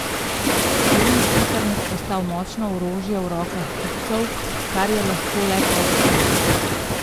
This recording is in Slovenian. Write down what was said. S tem je internet postal močno orožje v rokah kupcev, kar je lahko le pozitivno.